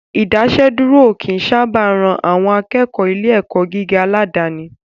Ìdásẹ́dúró ò kí ń sábà ran àwọn akẹ́kọ̀ọ́ ilé ẹ̀kọ́ gíga aládàníi